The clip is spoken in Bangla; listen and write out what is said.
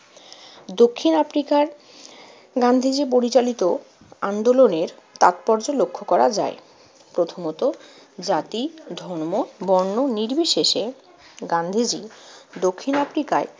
দক্ষিণ আফ্রিকার গান্ধীজি পরিচালিত আন্দোলনের তাৎপর্য লক্ষ্য করা যায়। প্রথমত, জাতি, ধর্ম, বর্ণ নির্বিশেষে গান্ধীজি দক্ষিণ আফ্রিকায়